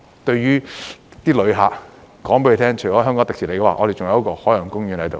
對旅客，我們會告訴他們，除了香港迪士尼外，我們還有一個海洋公園在此。